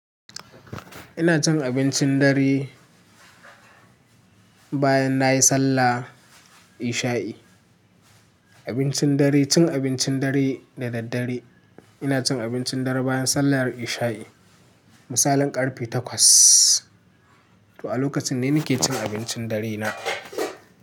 Ina cin abincin dare bayan nayi sallah isha'i. Abincin dare, cin abincin dare da daddare. Ina cin abincin dare bayan sallar isha'i. Misalin ƙarfe takwas. To a lokacin ne nake cin abincin dare na.